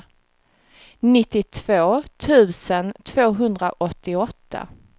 nittiotvå tusen tvåhundraåttioåtta